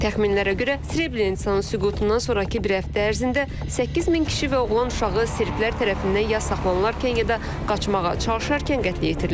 Təxminlərə görə, Srebrenitsanın süqutundan sonrakı bir həftə ərzində 8000 kişi və oğlan uşağı serblər tərəfindən ya saxlanılarkən, ya da qaçmağa çalışarkən qətlə yetirilib.